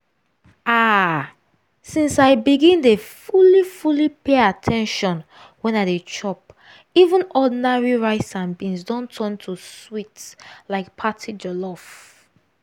ah! since i begin dey fully fully pay at ten tion when i dey chop even ordinary rice and beans don turn to sweet like party jollof.